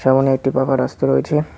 ওখানে একটি পাকা রাস্তা রয়েছে।